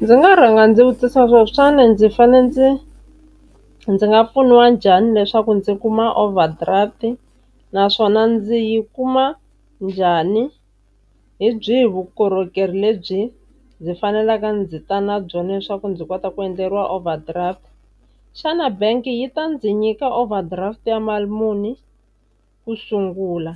Ndzi nga rhanga ndzi vutisa xana ndzi fane ndzi, ndzi nga pfuniwa njhani leswaku ndzi kuma overdraft, naswona ndzi yi kuma njhani, hi byihi vukorhokeri lebyi ndzi faneleke ndzi ta na byona leswaku ndzi kota ku endleriwa overdraft. Xana bank yi ta ndzi nyika overdraft ya mali muni ku sungula,